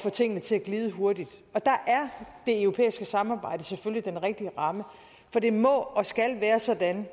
få tingene til at glide hurtigt og der er det europæiske samarbejde selvfølgelig den rigtige ramme for det må og skal være sådan